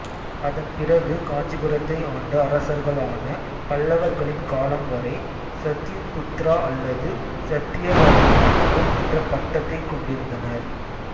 அதன்பிறகு காஞ்சிபுரத்தை ஆண்ட அரசர்களான பல்லவர்களின் காலம் வரை சத்யுபுத்திரா அல்லது சத்தியவரதனின் மகன் என்ற பட்டத்தைக் கொண்டிருந்தனர்